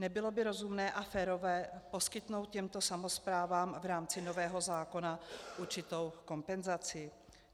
Nebylo by rozumné a férové poskytnout těmto samosprávám v rámci nového zákona určitou kompenzaci?